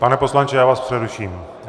Pane poslanče, já vás přeruším.